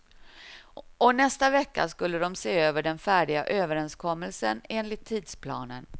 Och nästa vecka skulle de se över den färdiga överenskommelsen, enligt tidsplanen.